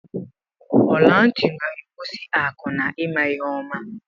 Ọla ntị na-egosi akụ na ịma ihe oma.